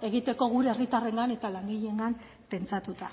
egiteko gure herritarrengan eta langileengan pentsatuta